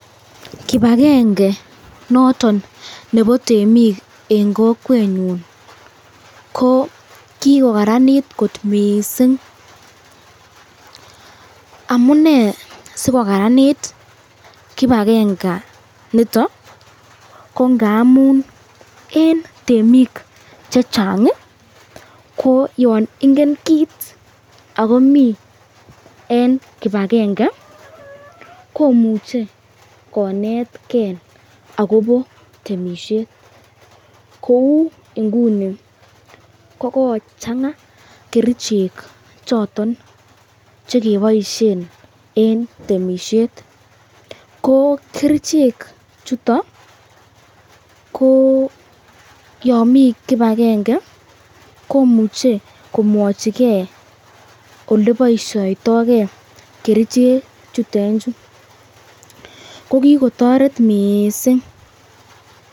Kipagenge noton nebo temik en kokwenyun ko kigokaranit kot mising. Amunee sikokaranit kipagenge inito ko ngamun en temik che chang ko yon ingen kit ago mi en kipagenge komuuche konetgei agobo temisiet kou inguni kogochang'a kerichek choto che keboisie en temisiet. Ko kerichek chuto yon mi kipagenge komuche komwochi ge ole boisyoitokei kerichejutet chu. ko kigotoret mising.